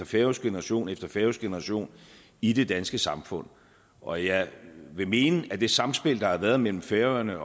færøsk generation efter færøsk generation i det danske samfund og jeg vil mene at det sammenspil der har været mellem færøerne